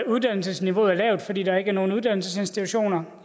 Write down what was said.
uddannelsesniveauet er lavt fordi der ikke er nogen uddannelsesinstitutioner